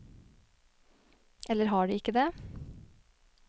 Eller har de ikke det?